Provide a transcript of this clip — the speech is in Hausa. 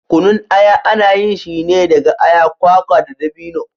Kunun aya ana yin shi ne daga aya, kwakwa da dabino.